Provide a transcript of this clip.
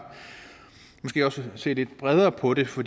se lidt bredere på det for